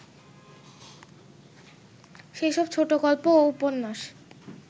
সেসব ছোটগল্প ও উপন্যাস